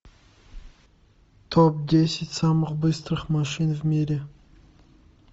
топ десять самых быстрых машин в мире